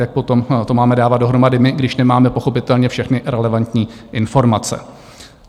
Jak potom to máme dávat dohromady my, když nemáme pochopitelně všechny relevantní informace?